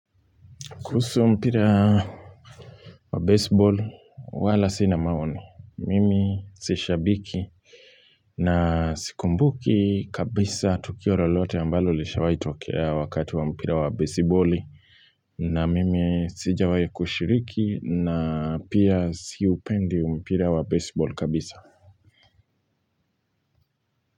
Kuhusu mpira wa baseball wala sina maoni. Mimi si shabiki na sikumbuki kabisa tukio lolote ambalo lishawahi tokea wakati wa mpira wa baseboli na mimi sijawahi kushiriki na pia siupendi mpira wa baseball kabisa.